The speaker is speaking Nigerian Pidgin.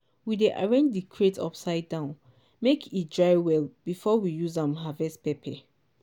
we dey arrange di crate upside down make e dry well before we use am harvest pepper.